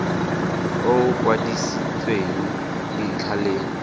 o o kwadisitsweng dintlha le